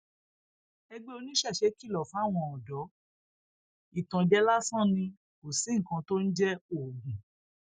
ẹgbẹ oníṣẹṣe kìlọ fáwọn ọdọ ìtànjẹ lásán ni kò sí nǹkan tó ń jẹ oògùn